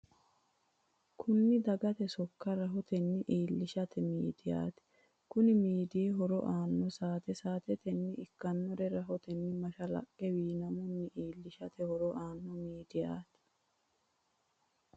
Kunni dagate sokka rahotenni iilinshanni imiidiyati. Konni miidi horo mannu saate saatete ikinore rahotenni mashalaqe wiinamunni iilishate horo aano miidiyaati.